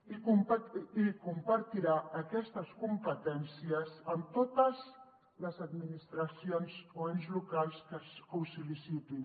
i compartirà aquestes competències amb totes les administracions o ens locals que ho sol·licitin